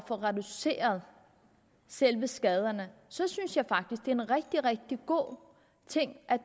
få reduceret selve skaderne så synes jeg faktisk det er en rigtig rigtig god ting at